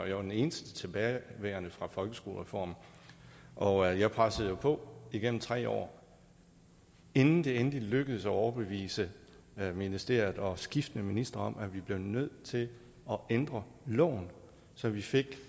jeg var den eneste tilbageværende fra folkeskolereformen og jeg pressede jo på igennem tre år inden det endelig lykkedes at overbevise ministeriet og skiftende ministre om at vi blev nødt til at ændre loven så vi fik